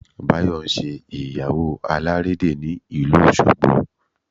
Báyọ̀ ń ṣe ìyàwó alàrédè ní ìlú Òṣogbo